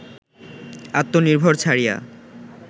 আত্মনির্ভর ছাড়িয়া